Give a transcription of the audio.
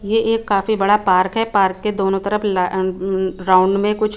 ये एक काफी बड़ा पार्क है। पार्क के दोनों तरफ ला अ ऊ राउंड में कुछ --